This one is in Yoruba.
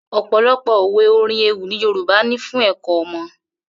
Ò̩pò̩lo̩pò̩ òwe, orin, ewì ni Yorùbá ní fún è̩kó̩ o̩mo̩